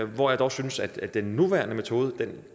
hvor jeg dog synes at den nuværende metode